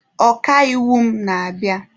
Ọka iwu m na-abịa.